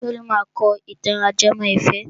Bólú máa kọ ìtàn ajẹmọ́ ìfẹ́.